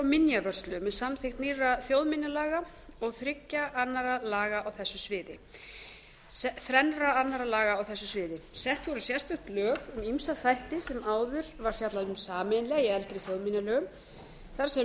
minjavörslu með samþykkt nýrra þjóðminjalaga og þrennra annarra laga á þessu sviði sett voru sérstök lög um ýmsa þætti sem áður var fjallað um sameiginlega í eldri þjóðminjalögum þar sem lög